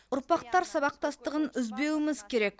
ұрпақтар сабақтастығын үзбеуіміз керек